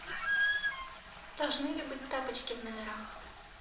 должны ли быть тапочки в номерах